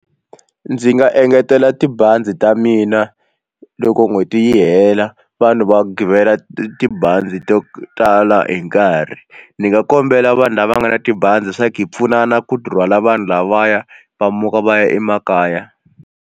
Ndzi nga engetela tibazi ta mina loko n'hweti yi hela vanhu va givela tibazi to tala hi nkarhi ndzi nga kombela vanhu lava nga na tibazi swaku hi pfunana ku rhwala vanhu lavaya va muka va ya emakaya.